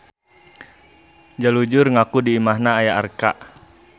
Jalujur ngaku di imahna aya arca.